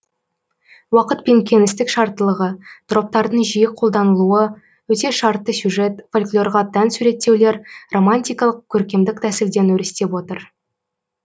уақыт пен кеңістік шарттылығы троптардың жиі қолданылуы өте шартты сюжет фольклорға тән суреттеулер романтикалық көркемдік тәсілден өрістеп отыр